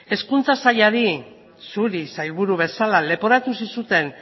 hezkuntza sailari zuri sailburu bezala leporatu zizuten